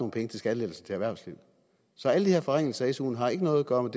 penge til skattelettelser til erhvervslivet så alle de her forringelser af suen har ikke noget at gøre med